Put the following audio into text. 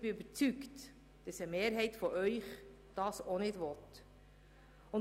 Ich bin davon überzeugt, dass eine Mehrheit unter Ihnen dies auch nicht will.